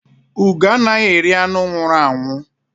Ugó anaghị eri anụ nwụrụ anwụ